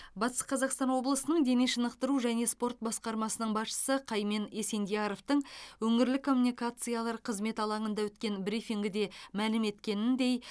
батыс қазақстан облысының дене шынықтыру және спорт басқармасының басшысы қаймен есендияровтың өңірлік коммуникациялар қызметі алаңында өткен брифингіде мәлім еткеніндей